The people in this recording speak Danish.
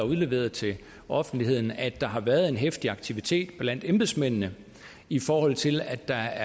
udleveret til offentligheden at der har været en heftig aktivitet blandt embedsmændene i forhold til at der